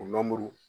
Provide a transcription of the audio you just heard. O